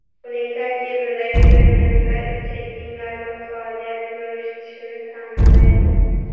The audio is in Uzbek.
Uning tarkibidagi fermentlar ichakning normal faoliyat yuritishini ta’minlaydi.